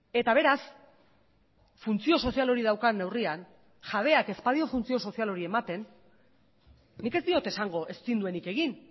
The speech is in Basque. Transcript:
eta beraz funtzio sozial hori daukan neurrian jabeak ez badio funtzio sozial hori ematen nik ez diot esango ezin duenik egin